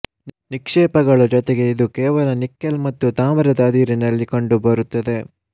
ನಿಕ್ಷೇಪಗಳು ಜೊತೆಗೆ ಇದು ಕೆಲವು ನಿಕ್ಕೆಲ್ ಮತ್ತು ತಾಮ್ರದ ಅದಿರುನಲ್ಲಿ ಕಂಡುಬರುತ್ತದೆ